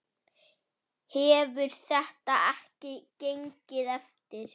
Hefur þetta ekki gengið eftir?